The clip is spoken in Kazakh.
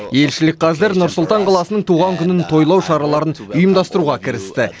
елшілік қазір нұр сұлтан қаласының туған күнін тойлау шараларын ұйымдастыруға кірісті